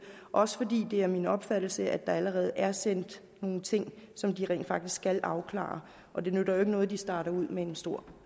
også fordi det er min opfattelse at der allerede er sendt nogle ting som de skal afklare og det nytter jo ikke noget at de starter ud med en stor